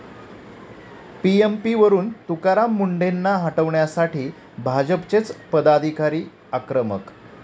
पीएमपी'वरून तुकाराम मुंढेंना हटवण्यासाठी भाजपचेच पदाधिकारी आक्रमक!